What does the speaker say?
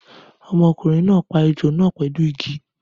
Ọmọkùnrin náà pa ejò náà pẹlu Igi